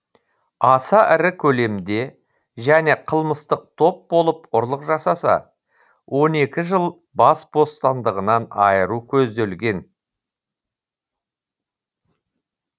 аса ірі көлемде және қылмыстық топ болып ұрлық жасаса он екі жыл бас бостандығынан айыру көзделген